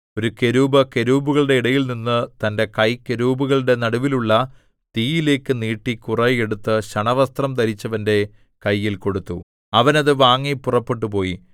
ഒരു കെരൂബ് കെരൂബുകളുടെ ഇടയിൽനിന്ന് തന്റെ കൈ കെരൂബുകളുടെ നടുവിലുള്ള തീയിലേക്ക് നീട്ടി കുറെ എടുത്തു ശണവസ്ത്രം ധരിച്ചവന്റെ കയ്യിൽ കൊടുത്തു അവൻ അത് വാങ്ങി പുറപ്പെട്ടുപോയി